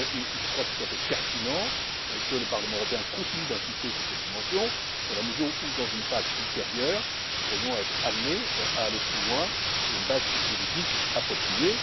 Je crois tout à fait pertinent que le Parlement européen continue d'insister sur cette dimension dans la mesure où dans une phase ultérieure, nous pourrions être amenés à aller plus loin sur une base juridique appropriée